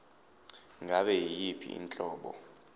ngabe yiyiphi inhlobo